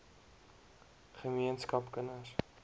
ge meenskap kinders